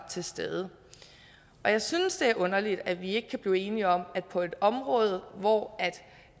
til stede jeg synes det er underligt at vi ikke kan blive enige om det på et område hvor